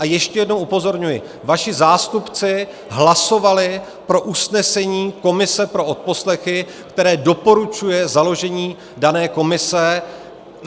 A ještě jednou upozorňuji, vaši zástupci hlasovali pro usnesení komise pro odposlechy, které doporučuje založení dané komise.